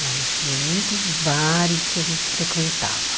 Olha, tinha muitos bares que a gente frequentava.